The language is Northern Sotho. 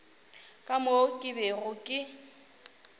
ka moo ke bego ke